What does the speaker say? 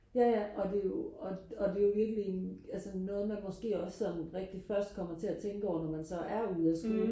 jaja og det er jo og det er jo virkelig en altså noget man måske også sådan rigtig først kommer til og tænke over når man så er ude af skolen